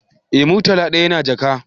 Eh, murtala dayan yana jaka